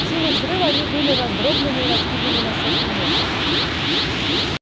силой взрыва они были раздроблены и раскиданы на сотни метров